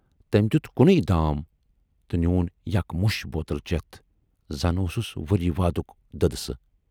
تٔمۍ دٮُ۪ت کُنے دام تہٕ نِین یک مُش بوتل چٮ۪تھ، زن اوسُس ؤری وادُک دٔدسہٕ۔